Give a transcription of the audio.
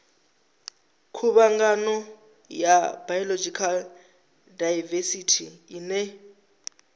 khuvhangano ya biological daivesithi ine